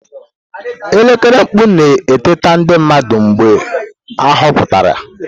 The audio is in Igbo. Elekere mkpu na-eteta ndị mmadụ mgbe ahọpụtara.